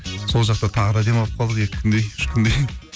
сол жақта тағы да демалып қалдық екі күндей үш күндей